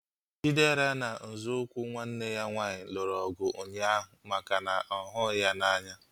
Chidera na nzọụkwụ nwanne ya nwaanyị lụrụ ọgụ ụnyaahụ maka na ọ ghughi ya n'anya